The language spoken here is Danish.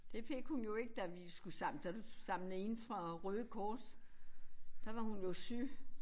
Det fik hun jo ikke da vi skulle samle da du samlede ind for Røde Kors. Der var hun jo syg